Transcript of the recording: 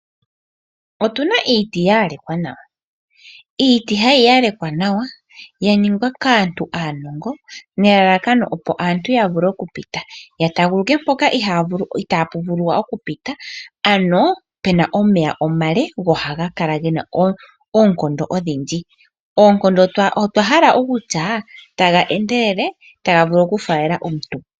Otuna iiti ya yalekwa nawa. Iiti hayi yalekwa nawa ya ningwa kaantu aanongo. Nelalakano opo aantu ya vule okupita. Ya taaguluke mpoka itaapu vulu oku pitwa. Ano pena omeya omale go oha ga kala gena oonkondo odhindji. Oonkondo otwa hala okutya taga endelele taga vulu oku faalela omuntu.